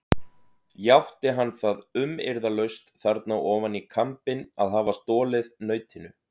Játti hann það umyrðalaust þarna ofan í kambinn að hafa stolið nautinu.